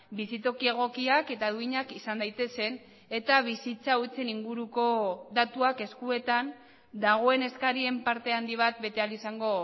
bizitoki egokiak eta duinak izan daitezen eta bizitza hutsen inguruko datuak eskuetan dagoen eskarien parte handi bat bete ahal izango